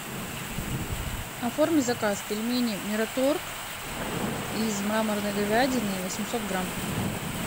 оформи заказ пельмени мираторг из мраморной говядины восемьсот грамм